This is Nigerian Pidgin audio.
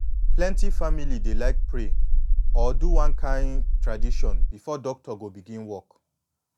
plenty family dey like pray or do one kin tradition before doctor go begin work